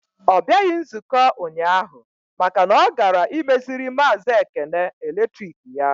Ọ bịaghị nzukọ ụnyaahụ maka na ọ gara imeziri maazi Ekene eletrik ya.